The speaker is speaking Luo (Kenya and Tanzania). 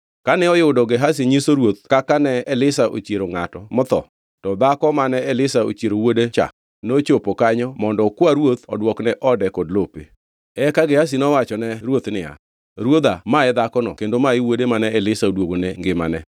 Kane oyudo Gehazi nyiso ruoth kaka ne Elisha ochiero ngʼato motho, to dhako mane Elisha ochiero wuode cha nochopo kanyo mondo okwa ruoth odwokne ode kod lope. Eka Gehazi nowachone ruoth niya, “Ruodha, ma e dhakono, kendo ma e wuode mane Elisha odwogone ngimane.”